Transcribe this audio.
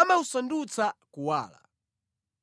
amawusandutsa kuwala.